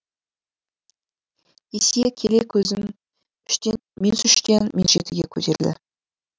есие келе көзім минус үштен минус жетіге көтерілді